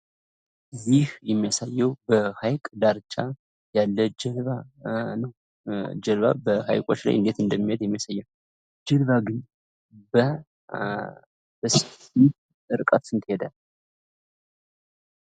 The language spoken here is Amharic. ይህ የሚያሳየው በሀይቅ ዳር ያለ ጀልባ ነው። ጀልባ በሀይቆች ላይ እንደት እንደሚሄድ የሚያሳይ ነው። ጀልባ ግን በርቀት ስንት ይሄዳል?